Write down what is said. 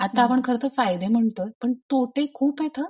आता आपण खर तर फायदे म्हणतो पण तोटे खूपेत हा.